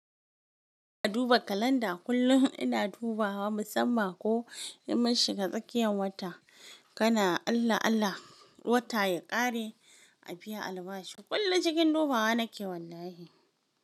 Ka duba kalanda. Kullum ina dubawa, musamman ko in mun shiga tsakiyan wata. Kana Allah Allah, wata ya ƙare a biya albashi. Kullum cikin dubawa nake wallahi.